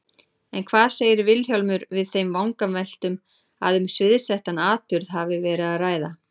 En hvað segir Vilhjálmur við þeim vangaveltum að um sviðsettan atburð hafi verið að ræða?